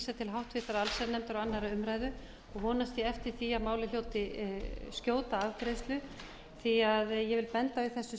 vísað til háttvirtrar allsherjarnefndar og annarrar umræðu og vonast ég eftir því að málið hljóti skjóta afgreiðslu því að ég vil benda á í þessu